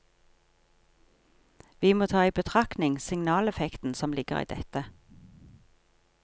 Vi må ta i betraktning signaleffekten som ligger i dette.